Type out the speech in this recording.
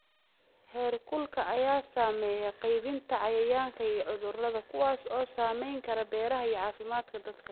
Heerkulka ayaa saameeya qaybinta cayayaanka iyo cudurrada, kuwaas oo saameyn kara beeraha iyo caafimaadka dadka.